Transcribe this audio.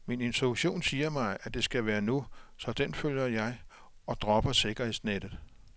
Min intuition siger mig, at det skal være nu, så den følger jeg og dropper sikkerhedsnettet.